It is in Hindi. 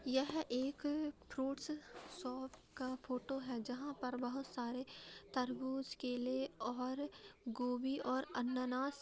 यह एक फ्रूट्स शॉप का फोटो है जहाँ पर बहुत सारे तरबूज केले और गोभी और अनानास --